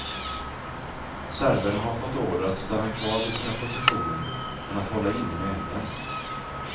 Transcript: Serberna har fått order att stanna kvar vid sina positioner men att hålla inne med elden.